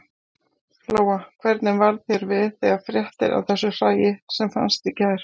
Lóa: Hvernig varð þér við þegar fréttir af þessu hræi sem fannst í gær?